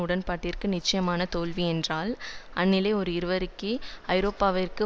உடன்பாட்டிற்கு நிச்சயமான தோல்வி என்றால் அந்நிலை ஓர் இருவேக ஐரோப்பாவிற்கு